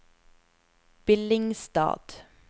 Billingstad